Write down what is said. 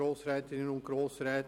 Das Wort hat Regierungsrat Käser.